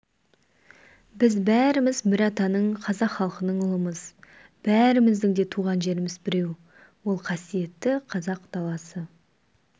біз бәріміз бір атаның қазақ халқының ұлымыз бәріміздің де туған жеріміз біреу ол қасиетті қазақ даласы